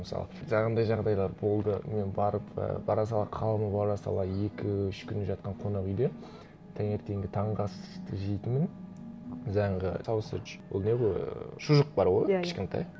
мысалы жаңағындай жағдайлар болды мен барып і бара сала қалдым бара сала екі үш күн жатқан қонақ уйде таңертеңгі таңғы асты жейтінмін жаңағы соуседж ол не ғой ыыы шұжық бар ғой кішкентай